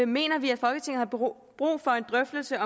mener vi at folketinget har brug for en drøftelse